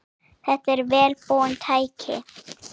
Þetta eru vel búin tæki.